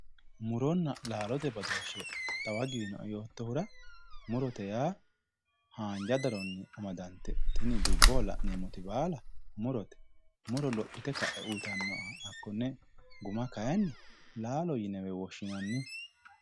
muronna laalote badooshi xawa giwino'e yootohura murote yaa haanja daranni amadantinoti tini dubbohonla'neemoti baala murote muro lophite ka'e uyiitanoha hakkonne guma kaayiinni laalo yinewe woshshinanni